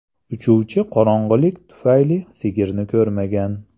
Uchuvchi qorong‘ilik tufayli sigirni ko‘rmagan.